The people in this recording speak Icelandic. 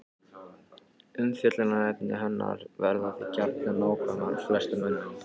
Umfjöllunarefni hennar verða því gjarnan nákomin flestum mönnum.